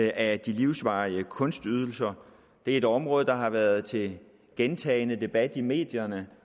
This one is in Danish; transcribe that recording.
af de livsvarige kunstydelser det er et område der har været til gentagen debat i medierne